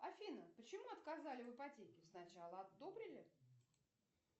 афина почему отказали в ипотеке сначала одобрили